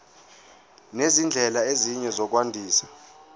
nezindlela ezinye zokwandisa